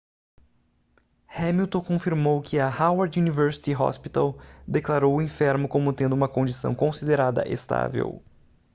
hamilton confirmou que o howard university hospital declarou o enfermo como tendo uma condição considerada estável